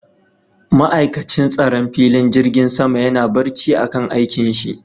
Ma'aikatin tsaron filin jirgin sama yana barci a kan aikin shi